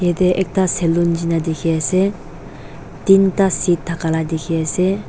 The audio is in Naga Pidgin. jatte ekta salon Jina dekhi ase tinta seat thaka laga dekhi ase.